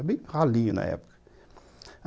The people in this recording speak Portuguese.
É bem ralinho na época.